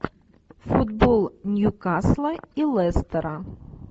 футбол ньюкасла и лестера